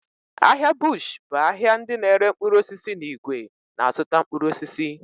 Ahịa bush bụ ahịa ndị n'ere mkpụrụ osisi n'ìgwè na-azụta mkpụrụ osisi.